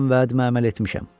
Mən vədimə əməl etmişəm.